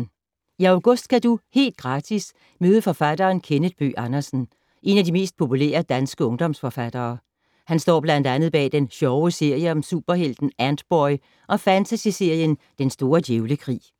I august kan du - helt gratis - møde forfatteren Kenneth Bøgh Andersen. En af de mest populære danske ungdomsforfattere. Han står blandt andet bag den sjove serie om superhelten Antboy og fantasyserien Den store djævlekrig.